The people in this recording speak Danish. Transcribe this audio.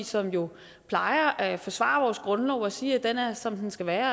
som jo plejer at forsvare vores grundlov og sige at den er som den skal være